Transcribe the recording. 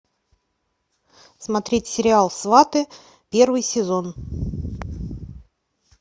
смотреть сериал сваты первый сезон